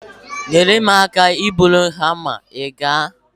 Nyere m aka ibuli hama, ị ga-?